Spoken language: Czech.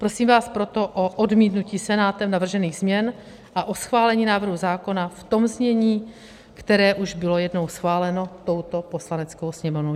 Prosím vás proto o odmítnutí Senátem navržených změn a o schválení návrhu zákona v tom znění, které už bylo jednou schváleno touto Poslaneckou sněmovnou.